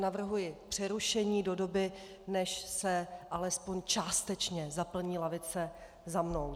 Navrhuji přerušení do doby, než se alespoň částečně zaplní lavice za mnou.